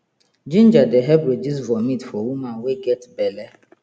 ginger dey help reduce vomit for woman wey get belle